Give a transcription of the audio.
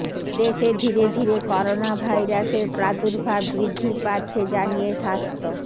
দেশে ধীরে ধীরে করোনাভাইরাসের প্রাদুর্ভাব বৃদ্ধি পাচ্ছে জানিয়ে স্বাস্থ্য